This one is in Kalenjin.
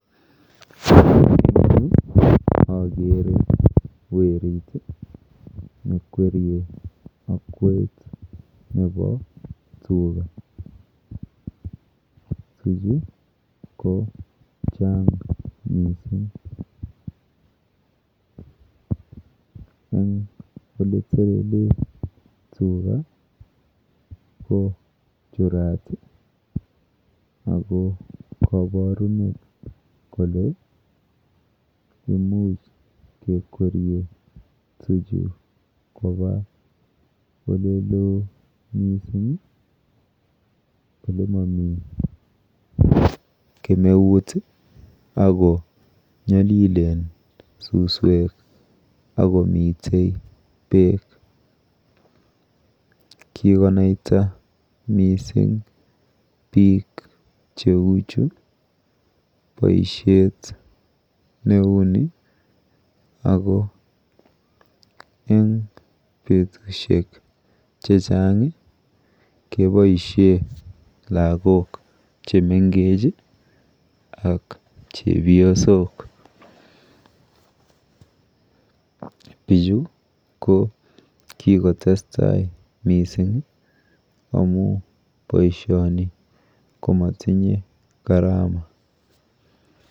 Eng yu akere werit nekwerie akwet nepo tuga. Tuchu ko chang mising. Eng olitelele tuga kochurat ako koporunet kole imuch kekwerie tuchu kopa oleloo mising olemomi kemeut akonyolilen suswek akomite beek. Kikonaita mising biik cheuchu boishet neuni ako eng betushek chechang keboishe lagok chemengech ak chepyosok. Bichu ko kikotestai mising amu boishoni komatinye gharama.